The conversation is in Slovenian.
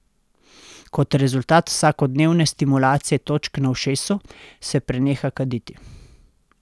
Kot rezultat vsakodnevne stimulacije točk na ušesu se preneha kaditi!